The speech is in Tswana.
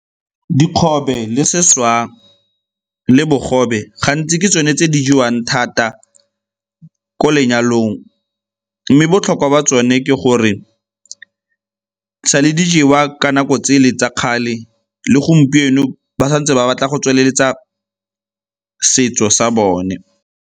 Dikgobe le seswa le bogobe gantsi ke tsone tse di jewang thata ko lenyalong mme botlhokwa ba tsone ke go gore sale di jewa ka nako tsele tsa kgale le gompieno ba sa ntse ba batla go tsweletsa setso sa bone.